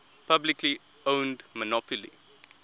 publicly owned monopoly